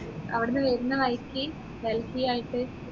അവിടുന്ന് വരുന്ന വഴിക്ക് ഡൽഹി ആയിട്ട്